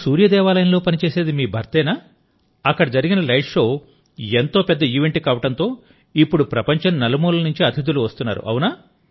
అక్కడ సూర్య దేవాలయంలో పని చేసేది మీ భర్తేనా అక్కడ జరిగిన లైట్ షో ఎంతో పెద్ద ఈవెంట్ కావడంతో ఇప్పుడు ప్రపంచం నలుమూలల నుంచి అతిథులు వస్తున్నారు